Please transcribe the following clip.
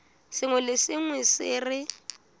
sengwe le sengwe se re